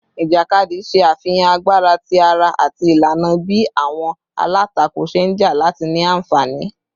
Ijakadi ṣe afihan agbara ti ara ati ilana bi awọn alatako ṣe nja lati ni anfani